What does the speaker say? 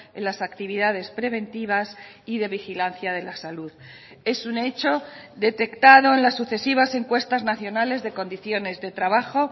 en las actividades preventivas y de vigilancia de la salud es un hecho detectado en las sucesivas encuestas nacionales de condiciones de trabajo